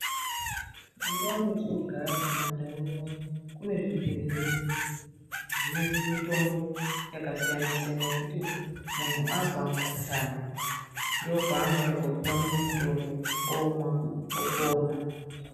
Mundau mwatinogara mumandau unono, kune zvibhedhlera zvine mutombo yakasiyana siyana yekuti muntu azwa mukhuhlani ndokwaanoenda koopuwa mutombo. Omwa, opona.